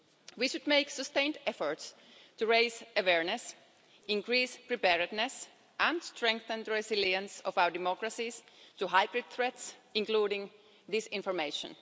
We should make sustained efforts to raise awareness, increase preparedness and strengthen the resilience of our democracies to hybrid threats, including disinformation.